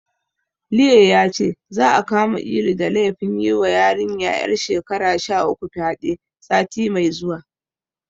Liye yace, za'a kama Ilu da laifin yiwa yarinya ƴar shekara sha uku fyaɗe, sati mai zuwa.